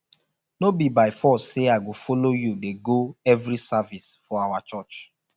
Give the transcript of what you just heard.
no be by force say i go follow you dey go every service for our church